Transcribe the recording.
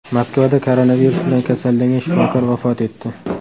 Moskvada koronavirus bilan kasallangan shifokor vafot etdi.